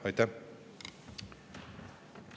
Aitäh!